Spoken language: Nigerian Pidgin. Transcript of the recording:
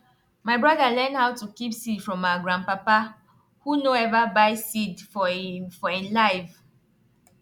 my broda learn how to keep seed from our grandpapa who nor ever buy seed for e for e life